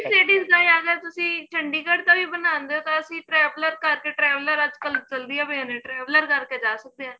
ladies ਦਾ ਆਗਿਆ ਤੁਸੀਂ chandigarh ਦਾ ਵੀ ਬਣਾਂਦੇ ਓ ਤਾਂ ਅਸੀਂ traveler ਕਰਕੇ traveler ਅੱਜਕਲ traveler ਕਰ ਕੇ ਜਾ ਸਕਦੇ ਆ